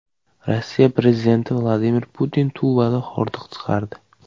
Rossiya prezidenti Vladimir Putin Tuvada hordiq chiqardi .